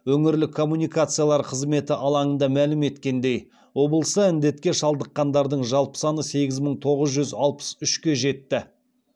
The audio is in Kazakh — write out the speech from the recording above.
өңірлік коммуникациялар қызметі алаңында мәлім еткеніндей облыста індетке шалдыққандардың жалпы саны сегіз мың тоғыз жүз алпыс үшке жетті